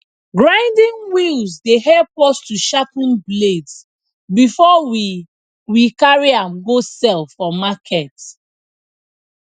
grinding wheels dey help us to sharpen blades before we we carry am go sell for market